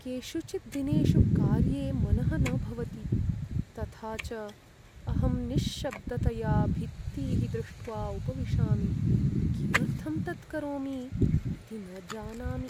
केषुचित् दिनेषु कार्ये मनः न भवति, तथा च अहं निश्शब्दतया भित्तीः दृष्ट्वा उपविशामि, किमर्थं तत् करोमि इति न जानामि।